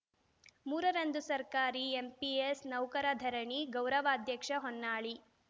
ಮೂರರಂದು ಸರ್ಕಾರಿ ಎನ್‌ಪಿಎಸ್‌ ನೌಕರ ಧರಣಿ ಗೌರವ ಅಧ್ಯಕ್ಷ ಹೊನ್ನಾಳಿ